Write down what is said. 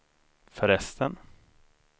förresten